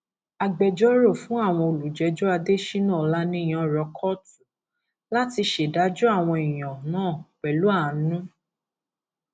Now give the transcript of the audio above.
agbẹjọrò fún àwọn olùjẹjọ adéshina ọlàníyàn rọ kóòtù láti ṣèdájọ àwọn èèyàn náà pẹlú àánú